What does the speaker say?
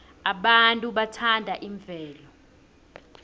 abantu bathanda imvelo